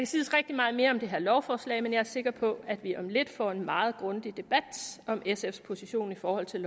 siges rigtig meget mere om det her lovforslag men jeg er sikker på at vi om lidt får en meget grundig debat om sfs position i forhold til